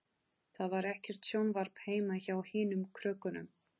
Það var ekkert sjónvarp heima hjá hinum krökkunum.